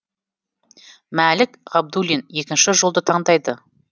мәлік ғабдуллин екінші жолды таңдайды